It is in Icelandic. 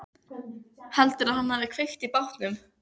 Mér varð starsýnt á þau en spurði einskis.